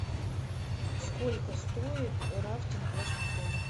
сколько стоит рафтинг в вашем отеле